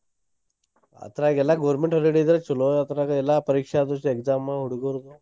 ಆದ್ರಗೆಲ್ಲಾ government holiday ಇದ್ರೆ ಚೊಲೋ ಆದ್ರಗ ಎಲ್ಲಾ ಪರೀಕ್ಷೆ ಆ ದಿವ್ಸ exam ಹುಡ್ಗೂರ್ಗೆ.